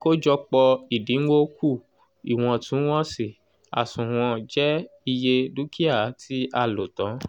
àkójọpọ̀ ìdinwó kù iwọntún-wọnsì àsùnwọ̀n je iye dúkìá tí a "lò tán